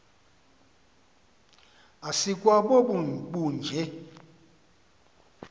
asikwa bobu bunje